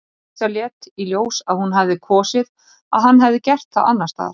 Dísa lét í ljós að hún hefði kosið að hann hefði gert það annars staðar.